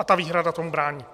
A ta výhrada tomu brání.